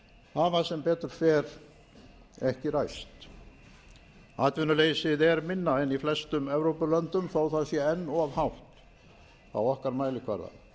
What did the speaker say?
erlendis hafa sem betur fer ekki ræst atvinnuleysið er minna en í flestum evrópulöndum þótt það sé enn of hátt á okkar mælikvarða